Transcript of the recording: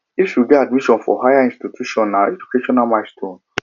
if you get admission for higher institution na educational milestone